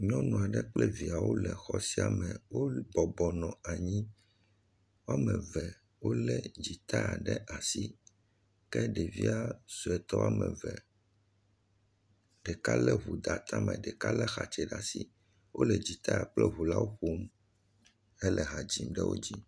Nyɔnu aɖe kple viawo le xɔ sia me. Wobɔbɔ nɔ anyi, woame eve wolé dzinta ɖe asi, ke ɖevia sɔetɔ woame eve, ɖeka lé ŋu de atame, ɖeka lé axatse ɖe asi. Wole dzitaa kple ŋu la ƒom hele ha dzim ɖe wo dzi.